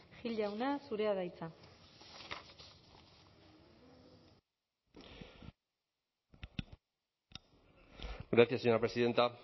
gil jauna zurea da hitza gracias señora presidenta